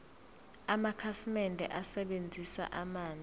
amakhasimende asebenzisa amanzi